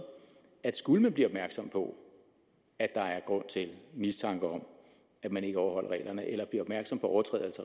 at skulle vi blive opmærksomme på at der er grund til mistanke om at man ikke overholder reglerne eller vi bliver opmærksomme på overtrædelse